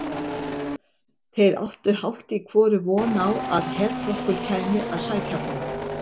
Þeir áttu hálft í hvoru von á að herflokkur kæmi að sækja þá.